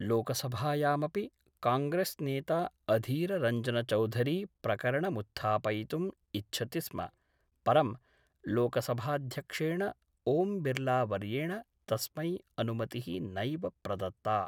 लोकसभायामपि कांग्रेस्नेता अधीररञ्जनचौधरी प्रकरणमुत्थापयितुम् इच्छति स्म परं लोकसभाध्यक्षेण ओम्बिर्लावर्येण तस्मै अनुमतिः नैव प्रदत्ता।